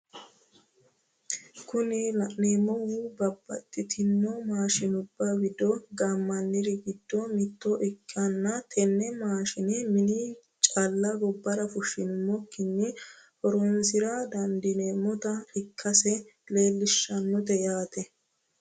Kuni la'neemohu babadhitino maashinubba wido gammanniri gido mitto ikkanna tene maashine mine calla gobbara fushshinummokkinni horonsira dandineemote ikkase leelishshannonkete yaate.